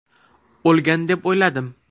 O‘lgan deb o‘yladim.